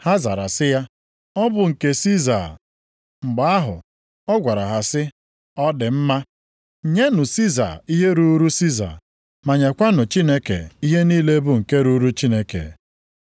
Ha zara sị ya, “Ọ bụ nke Siza.” Mgbe ahụ ọ gwara ha sị, “Ọ dị mma. Nyenụ Siza ihe ruuru Siza, ma nyekwanụ Chineke ihe niile bụ nke ruuru Chineke.”